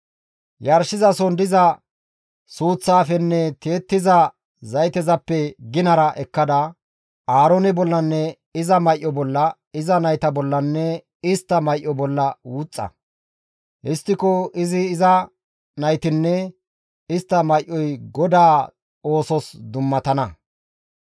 Yarshizason diza suuththaafenne tiyettiza zaytezappe ginara ekkada, Aaroone bollanne iza may7o bolla, iza nayta bollanne istta may7o bolla wuxxa; histtiko izi iza naytinne, istta may7oy GODAA oosos dummatana.